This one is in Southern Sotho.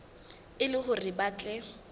e le hore ba tle